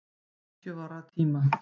Hetju vorra tíma.